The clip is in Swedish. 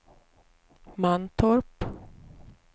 Mantorp